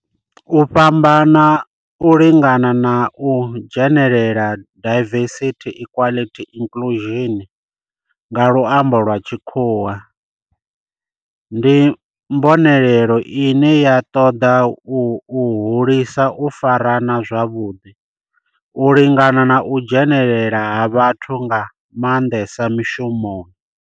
U fhambana, u lingana na u dzhenelela diversity, equity and inclusion nga lwambo lwa tshikhuwa ndi mbonelelo ine ya ṱoḓa u hulisa u farana zwavhudi, u lingana na u dzhenelela ha vhathu nga mandesa mishumoni.